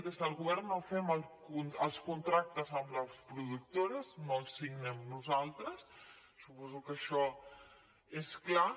des del govern no fem els contractes amb les productores no els signem nosaltres suposo que això és clar